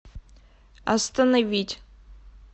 остановить